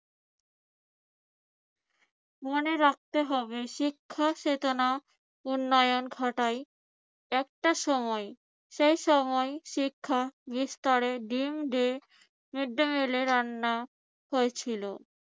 মনে রাখতে হবে শিক্ষা চেতনা উন্নয়ন ঘটায়। একটা সময় সে সময় শিক্ষা বিস্তারের ড্রিম ডে রান্না হয়েছিল।